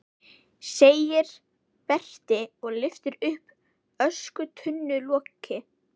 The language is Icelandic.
segir Berti og lyftir upp öskutunnuloki.